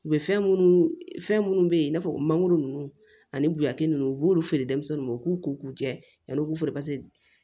U bɛ fɛn minnu fɛn minnu bɛ yen i n'a fɔ mangoro ninnu ani buyaki ninnu u b'olu feere denmisɛnninw ma u k'u ko k'u jɛ yan'u k'u feere paseke